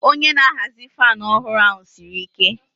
Onye na-ahazi fan ọhụrụ ahụ siri ike.